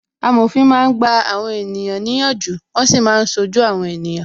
Amòfin máa ń gba àwọn ènìyàn ní ìyànjú, wọn sì máa ń ṣojú àwọn ènìyàn